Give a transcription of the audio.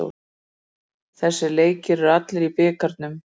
Þessir leikir eru allir í bikarnum